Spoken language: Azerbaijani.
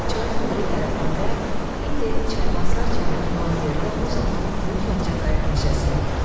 Çayın o biri tərəfində, indi çaybasar çəməni olan yerdə, o zaman böyük Ağcaqayın meşəsi.